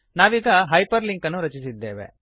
ನಾವೀಗ hyperlink ಅನ್ನು ರಚಿಸಿದ್ದೇವೆ